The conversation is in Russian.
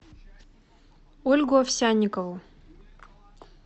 ольгу овсянникову